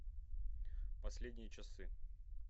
последние часы